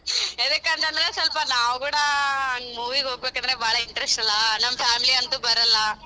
ಯದಿಕಂತಂದ್ರೆ ಸ್ವಲ್ಪ ನಾವು ಕೂಡ movie ಗ ಹೋಗಬೇಕಂದ್ರೆ ಬಾಳ interest ಅಲ್ಲ ನಮ್ಮ family ಅಂತು ಬರಲ್ಲ.